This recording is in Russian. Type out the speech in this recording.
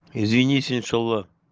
извини сенцова